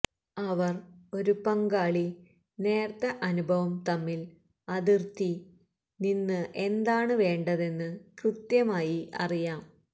അവർ ഒരു പങ്കാളി നേർത്ത അനുഭവം തമ്മിൽ അതിർത്തി നിന്ന് എന്താണ് വേണ്ടതെന്ന് കൃത്യമായി അറിയാം